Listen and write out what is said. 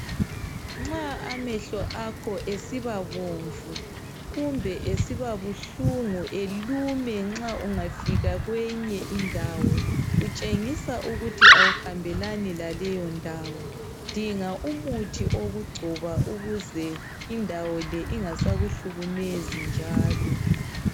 Nxa amehlo akho esibabomvu kumbe esiba buhlungu elume nxa ungafika kweyinye indawo, kutshengisa ukuthi awuhambelani laleyo ndawo dinga umuthi okugcoba ukuze indawo le ingasakuhlukumezi njalo.